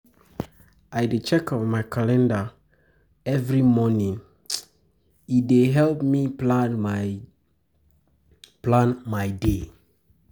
I dey check um my calender um every morning, e um dey help me plan my me plan my day.